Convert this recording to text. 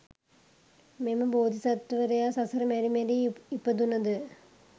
මෙම බෝධිසත්වවරයා සසර මැරි මැරී ඉපදුනද